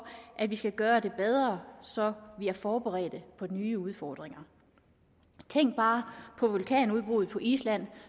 at vi skal gøre det bedre så vi er forberedt på de nye udfordringer tænk bare på vulkanudbruddet på island